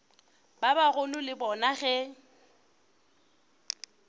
ba bagolo le bona ge